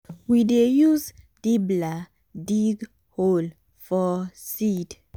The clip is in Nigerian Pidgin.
we dey use dibbler dig hole for seed.